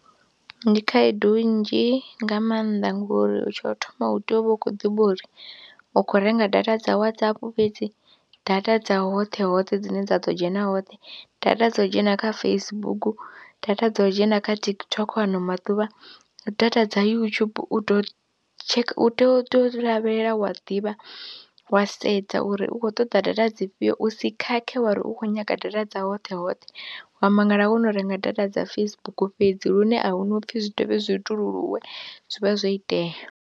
Ndi khaedu nnzhi nga maanḓa ngori tsho u thoma hu tea u vha u khou ḓivha uri u khou renga data dza Whatsapp fhedzi data dza hoṱhe hoṱhe dzine dza ḓo dzhena hoṱhe, data dza u dzhena kha Facebook, data dza u dzhena kha TikTok ano maḓuvha na data dza YouTube u tou tsheka u tea u tou lavhelela wa ḓivha wa sedza uri u khou ṱoḓa data dzi fhio u si khakhe wa ri u khou nyaga data dza hoṱhe hoṱhe wa mangala wo no renga data dza Facebook fhedzi lune a hu na u pfhi zwi dovhe zwi i tululuwe zwi vha zwo itea.